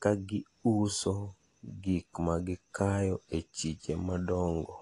ga giuso gikmakikayo e chiche madongo.